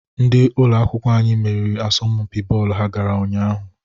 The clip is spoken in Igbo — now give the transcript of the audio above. Ndị ụlọ akwụkwọ meriri n'asọmpi bọọlụ ha gara ụnyaahụ.